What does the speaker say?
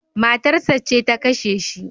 Matarsa ce ta kashe shi